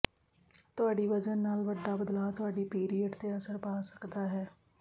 ਤੁਹਾਡੀ ਵਜ਼ਨ ਨਾਲ ਵੱਡਾ ਬਦਲਾਅ ਤੁਹਾਡੀ ਪੀਰੀਅਡ ਤੇ ਅਸਰ ਪਾ ਸਕਦਾ ਹੈ